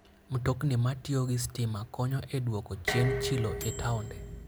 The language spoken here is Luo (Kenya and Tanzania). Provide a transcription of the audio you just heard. Mtokni ma tiyo gi stima konyo e dwoko chien chilo e taonde.